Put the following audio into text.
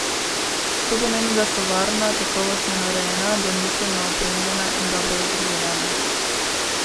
To pomeni, da so varna, kakovostno narejena, domiselno opremljena in dobro vzdrževana.